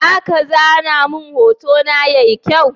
Zaka zana mun hotona yayi kyau?